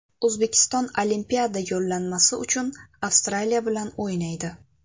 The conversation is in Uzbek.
O‘zbekiston Olimpiada yo‘llanmasi uchun Avstraliya bilan o‘ynaydi.